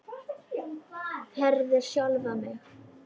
Herði sjálfa mig.